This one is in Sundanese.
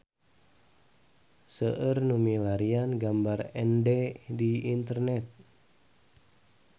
Seueur nu milarian gambar Ende di internet